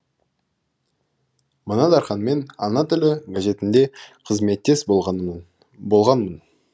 мына дарханмен ана тілі газетінде қызметтес болғанмын